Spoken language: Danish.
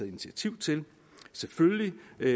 initiativ til selvfølgelig